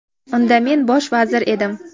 Unda men bosh vazir edim.